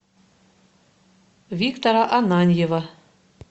виктора ананьева